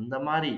அந்த மாதிரி